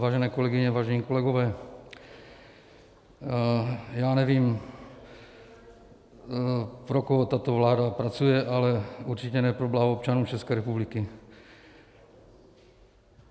Vážené kolegyně, vážení kolegové, já nevím, pro koho tato vláda pracuje, ale určitě ne pro blaho občanů České republiky.